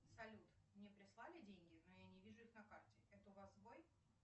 салют мне прислали деньги но я не вижу их на карте это у вас сбой